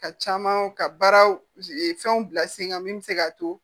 Ka caman ka baaraw fɛnw bila sen kan min bɛ se k'a to